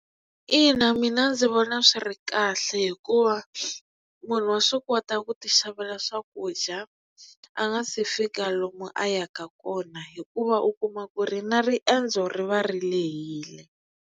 Ina mina ndzi vona swi ri kahle hikuva munhu wa swi kota ku ti xavela swakudya a nga se fika lomu a yaka kona hikuva u kuma ku ri na riendzo ri va ri lehile.